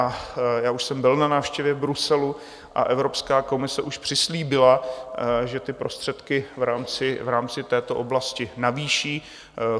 A já už jsem byl na návštěvě v Bruselu a Evropská komise už přislíbila, že ty prostředky v rámci této oblasti navýší.